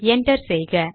enter செய்க